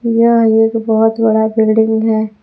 यह एक बहोत बड़ा बिल्डिंग है।